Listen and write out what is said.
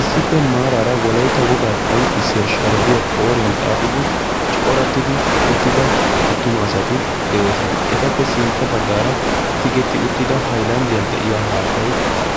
issippe maaraara wolaita wogaa qonccissiya sharibiya qooriyan xaaxidi corattidi uttida attuma asati de7oosona etappe sintta baggaara tigetti uttida hailanddiyan de7iya haattai